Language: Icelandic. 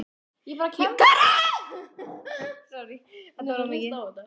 Jóhannes: Hvernig var þetta?